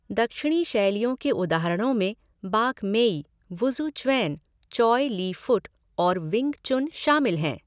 दक्षिणी शैलियों के उदाहरणों में Bak Mei, Wuzuquan, Choy Li Fut और विंग चुन शामिल हैं।